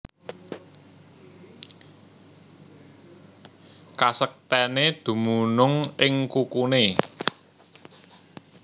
Kasektèné dumunung ing kukuné